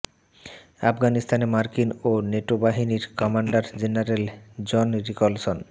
আফগানিস্তানে মার্কিন ও নেটো বাহিনীর কমান্ডার জেনারেল জন নিকলসন